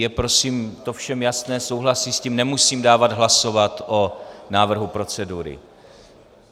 Je to prosím všem jasné, souhlasí s tím, nemusím dávat hlasovat o návrhu procedury?